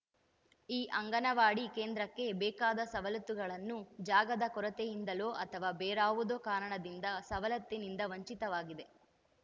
ಈ ಅಂಗನವಾಡಿ ಕೇಂದ್ರಕ್ಕೆ ಬೇಕಾದ ಸವಲತ್ತುಗಳನ್ನು ಜಾಗದ ಕೊರತೆಯಿಂದಲೋ ಅಥವಾ ಬೇರಾವುದೋ ಕಾರಣದಿಂದ ಸವಲತ್ತಿನಿಂದ ವಂಚಿತವಾಗಿದೆ